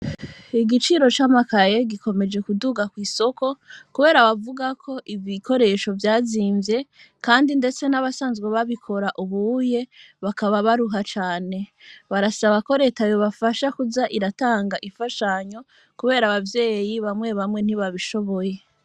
Igiciro c'amakayel gikomeje kuduga kw'isoko, kubera bavuga ko iv ikoresho vyazimvye, kandi, ndetse n'abasanzwe babikora ubuye bakaba baruha cane barasaba koretayo bafasha kuza iratanga ifashanyo, kubera abavyeyi bamwe bamwe ntibabishoboye.